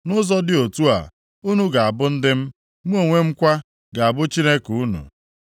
‘Nʼụzọ dị otu a unu ga-abụ ndị m, mụ onwe m kwa ga-abụ Chineke unu.’ ”